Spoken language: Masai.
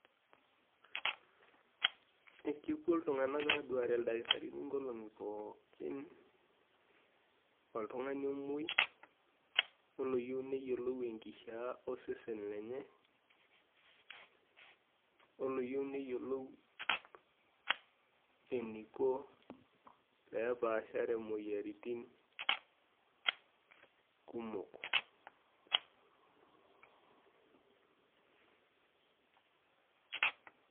ekepuo iltung`anak aaduare ildakitarini nkolong`i pookin, oltung`ani omuoi oloyieu neyiolou enkishaa osesen lenye oloyieu neyioluu eniko peepashare moyiaritin kumok.